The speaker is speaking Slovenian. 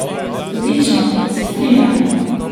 Odlično, se strinjam.